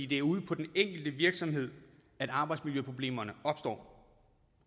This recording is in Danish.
det er ude på den enkelte virksomhed arbejdsmiljøproblemerne opstår